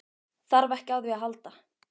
Þarf ekki á því að halda.